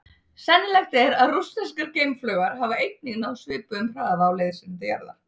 Sennilegt er að rússneskar geimflaugar hafa einnig náð svipuðum hraða á leið sinni til jarðar.